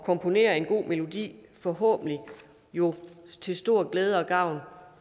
komponere en god melodi forhåbentlig jo til stor glæde og gavn